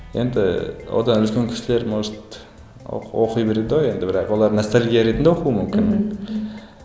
енді одан үлкен кісілер может оқи береді ғой енді бірақ олар ностальгия ретінде оқуы мүмкін мхм